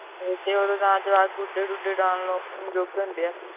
ਤੇ ਉਦੋਂ ਜਾਣ ਤੋਂ ਬਾਅਦ ਗੁਢੇ ਗੁਢੇ ਉਡਾਨ ਦੇ ਜੋਗੇ ਹੁੰਦੇ ਹੈ